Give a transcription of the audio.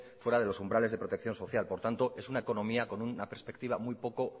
fuera de los umbrales de protección social por tanto es una economía con una perspectiva muy poco